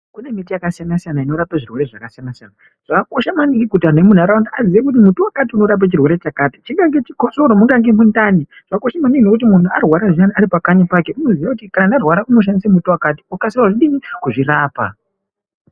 Kune miti yakasiyana siyana inorape zvirwere zvakasiyana siyana. Zvakakosha maningi kuti antu emunharaunda vaziyekuti muti wakati unorape chirwere chakati kunyangwe mundani kana chikosoro. Zvakabaakosha maningi kuti munhu arwara zviyani ari pakanyi pake anofanirwa kuziya kuti kana arwara anokwanise kushandise mutombo wakati akwanise kuzvirapa.